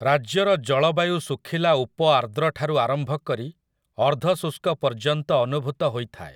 ରାଜ୍ୟର ଜଳବାୟୁ ଶୁଖିଲା ଉପଆର୍ଦ୍ରଠାରୁ ଆରମ୍ଭ କରି ଅର୍ଦ୍ଧଶୁଷ୍କ ପର୍ଯ୍ୟନ୍ତ ଅନୁଭୂତ ହୋଇଥାଏ।